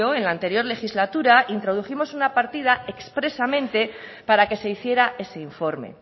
en la anterior legislatura introdujimos una partida expresamente para que se hiciera ese informe